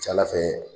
Ca ala fɛ